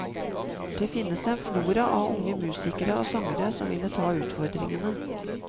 Det finnes en flora av unge musikere og sangere som ville ta utfordringene.